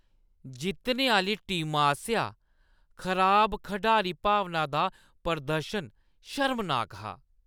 जित्तने आह्‌ली टीमा आसेआ खराब खढारी-भावना दा प्रदर्शन शर्मनाक हा।